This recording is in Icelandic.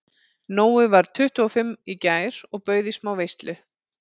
Nói varð tuttugu og fimm í gær og bauð í smá veislu.